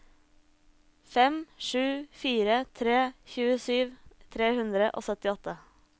fem sju fire tre tjuesju tre hundre og syttiåtte